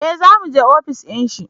eh za mu je ofis dinshi